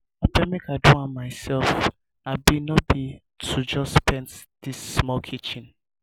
abeg make i do am myself abi no be to just paint dis small kitchen?